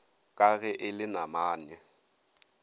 ka ge e le namane